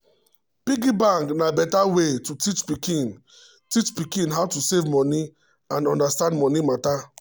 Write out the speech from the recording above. piggy bank na better way to teach pikin teach pikin how to save money and understand money matter.